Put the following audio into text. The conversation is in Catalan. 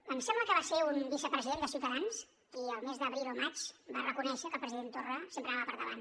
em sembla que va ser un vicepresident de ciutadans qui el mes d’abril o maig va reconèixer que el president torra sempre anava per davant